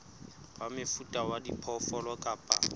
wa mofuta wa diphoofolo kapa